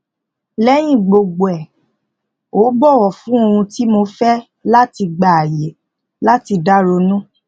lẹyìn gbogbo ẹ ó bọwọ fún ohun tí mo fẹ láti gba àyè láti dá ronú